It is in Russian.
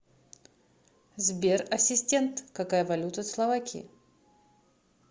сбер ассистент какая валюта в словакии